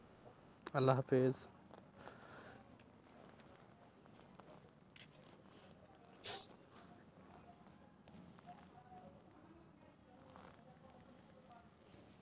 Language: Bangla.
আল্লা হাফিজ।